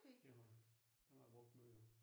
Det har jeg. Dem har jeg brugt meget